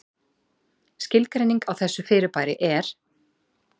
Skilgreining á þessu fyrirbæri er: